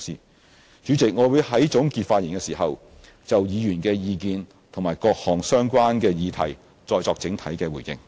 代理主席，我會在總結發言時就議員的意見和各項相關議題再作整體回應。